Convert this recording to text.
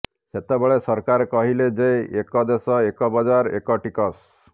ସେତେବେଳେ ସରକାର କହିଲେ ଯେ ଏକ ଦେଶ ଏକ ବଜାର ଏକ ଟିକସ